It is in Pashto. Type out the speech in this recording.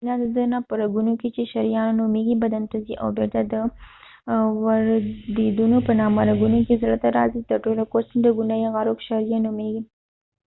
وينه د زړه نه په رګونو کې چې شریانونه نومیږی بدن ته ځی او بیرته د ورديدونو په نامه رګونو کې زړه ته راځی تر ټولو کوچنی رګونه یې عروق شعریه نومېږي